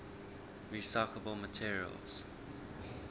recyclable materials